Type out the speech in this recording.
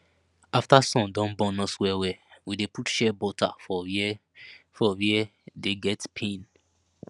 after sun don burn us wellwell we dey put shea butter for where for where we dey get pain